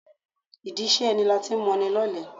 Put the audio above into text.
Ìdí iṣẹ́ ẹni lati ń moni lọ́lẹ.